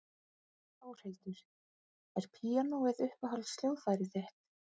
Þórhildur: Er píanóið uppáhalds hljóðfærið þitt?